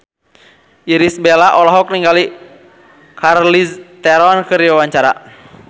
Irish Bella olohok ningali Charlize Theron keur diwawancara